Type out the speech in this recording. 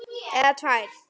Eða tvær.